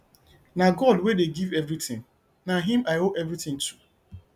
na god wey dey give everything na him i owe everything to